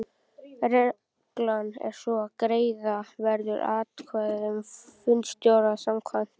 Reglan er sú að greiða verður atkvæði um fundarstjóra samkvæmt